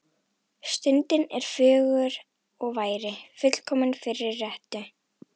Stundin er fögur og væri fullkomin fyrir rettu.